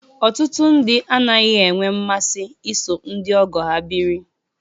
Ọtụtụ ndị anaghị enwe mmasị iso ndị ọgọ ha biri